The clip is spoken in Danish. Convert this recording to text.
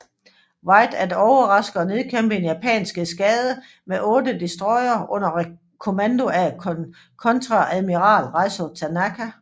Wright at overraske og nedkæmpe en japansk eskadre med 8 destroyere under kommando af kontreadmiral Raizo Tanaka